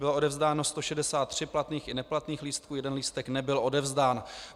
Bylo odevzdáno 163 platných i neplatných lístků, jeden lístek nebyl odevzdán.